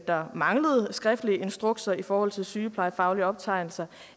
der manglede skriftlige instrukser i forhold til sygeplejefaglige optegnelser